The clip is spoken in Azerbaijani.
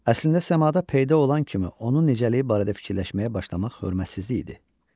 Əslində səmada peyda olan kimi onun nicəliyi barədə fikirləşməyə başlamaq hörmətsizlik idi.